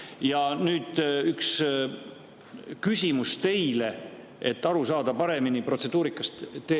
Ja nüüd üks küsimus teile, et paremini protseduurikast aru saada.